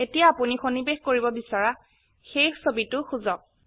এতিয়া আপোনি সন্নিবেশ কৰিব বিচৰা সেই ছবিটো খুঁজক